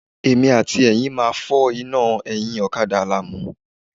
Èmi àti Ẹ̀yin máa fọ́ iná ẹ̀yìn ọ̀kadà Àlàmú.